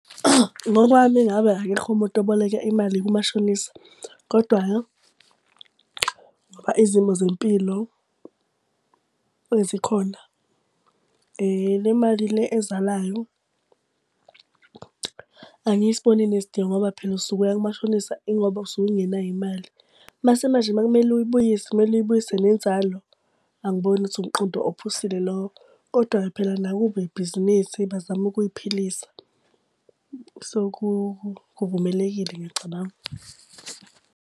Ngokwami ngabe akekho umuntu oboleka imali kumashonisa, kodwa-ke ngoba izimo zempilo zikhona. Le mali le ezalayo angiyisiboni inesidingo ngoba phela usuke uyakumashonisa ingoba usuke ungenayo imali. Mase manje uma kumele uyibuyise, kumele uyibuyise nenzalo, angiboni ukuthi umqondo ophusile lowo. Kodwa-ke phela nakubo ibhizinisi bazama ukuy'philisa so kuvumelekile, ngiyacabanga.